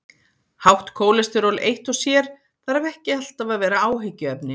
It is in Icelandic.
Hátt kólesteról eitt og sér þarf ekki alltaf að vera áhyggjuefni.